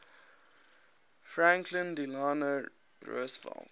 franklin delano roosevelt